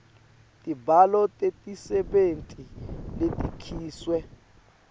tibalo tetisebenti letikhishwe